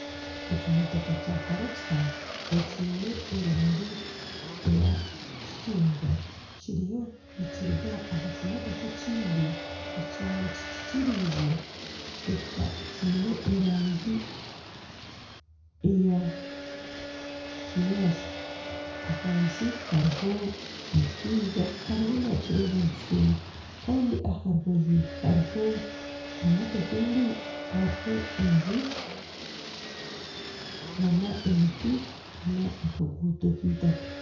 Ekimotoka kya karakita ekiine erangi ya kicungwa kiriyo nikiruga aha kimotoka ekindi ekyaba kyikikirize kiine erangi ya kinyaantsi . Ahansi hariho omushaija ariyo nakireba nikishuuma Kandi aha rubaju hariho enju n'emiti n'akaguuto k'eitaka.